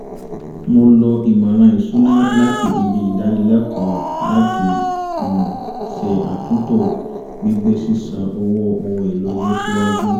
mo lo ìmọ̀ràn ìṣúná láti ibi ìdánilẹ́kọ̀ọ́ láti um ṣe àtúntò gbígbé sísan owó ohun èlò ilé ṣíwájú